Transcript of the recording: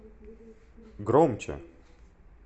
громче